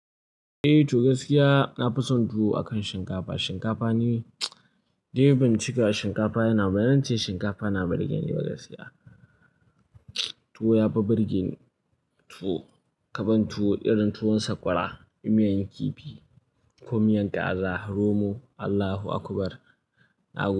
Eh, to gaskiya na fi son tuwo akan shinkafa. Shinkafa ni dai bincika shinkafa yana bana, bazance shinkafa na burgen ni ba gaskiya. Tuwo ya fi burgen tuwo, kaban tuwo irin tuwon sakwara, miyan kifi ko miyan kaza, romo, Allahu akubar. Na.